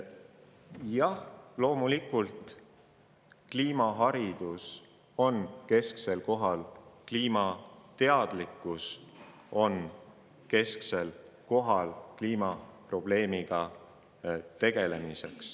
Jah, loomulikult, kliimaharidus ja kliimateadlikkus on kesksel kohal kliimaprobleemiga tegelemisel.